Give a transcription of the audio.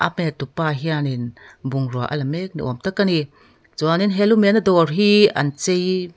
pet tupa hianin bungrua ala mek ni awm tak a ni chuanin he lu mehna dawr hi an chei--